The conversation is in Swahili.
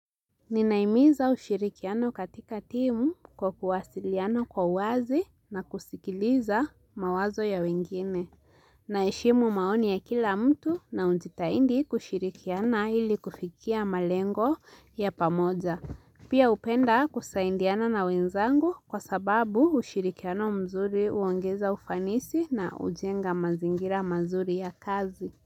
Ninahimiza ushirikiano katika timu kwa kuwasiliano kwa uwazi na kusikiliza mawazo ya wengine. Naheshimu maoni ya kila mtu na hujitahidi kushirikiana ili kufikia malengo ya pamoja. Pia hupenda kusaidiana na wenzangu kwa sababu ushirikiano mzuri huongeza ufanisi na hujenga mazingira mazuri ya kazi.